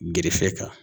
Gerefe kan